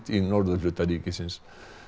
í norðurhluta ríkisins